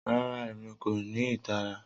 Rara, Emi ko ni itara.